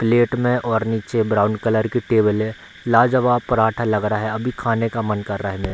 Plate में और निचे ब्राउन कलर की टेबल ए लाजवाब पराठा लग रहा है अभी खाने का मन कर रहा है मेरा।